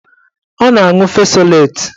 Ọ na-aṅụ fesoleti